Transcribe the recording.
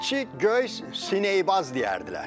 İki göy, sinəybaz deyərdilər.